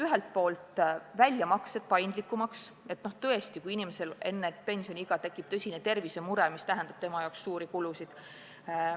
Ühelt poolt tuleks muuta väljamaksed paindlikumaks, juhuks, kui tõesti inimesel enne pensioniiga tekib tõsine tervisemure, mis tähendab tema jaoks suuri kulutusi.